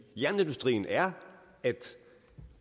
jernindustrien er at